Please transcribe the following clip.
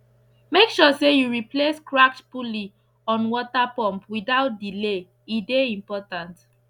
make sure say you replace cracked pulley on water pump without delay e dey important